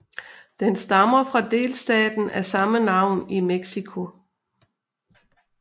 Den stammer fra delstaten af samme navn i Mexico